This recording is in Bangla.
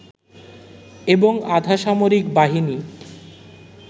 এবং আধা সামরিক বাহিনী